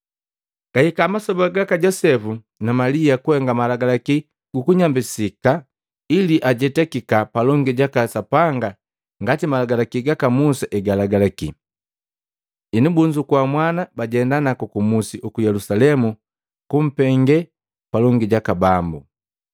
Gahika masoba gaka Josepu na Malia kuhenga malagalaki gu kunyambisika ili ajetakika palongi jaka Sapanga ngati Malagalaki gaka Musa egalagalaki. Henu bunzukua mwana, bajenda naku kumusi uku Yelusalemu kumpenge palongi jaka Bambu,